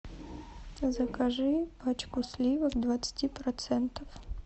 закажи пачку сливок двадцати процентов